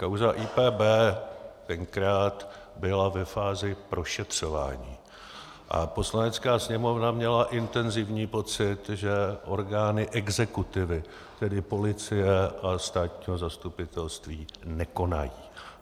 Kauza IPB tenkrát byla ve fázi prošetřování a Poslanecká sněmovna měla intenzivní pocit, že orgány exekutivy, tedy policie a státní zastupitelství, nekonají.